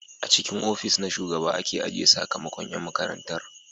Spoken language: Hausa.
A cikin ofis na shugaba aka ajiye sakamakon yan makarantar